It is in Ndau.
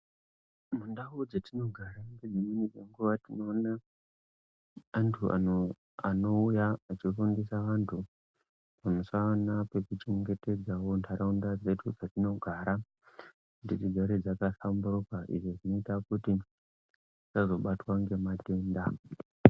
Mundau dzetinogara nedzimwe nguva tinoona antu anouya achifundisa antu pamusana pekuchengetedzavo ntaraunda dzedu dzetinogara kuti dzigare dzakahlamburuka. Izvi zvinoita kuti tisazobatwa ngematenda.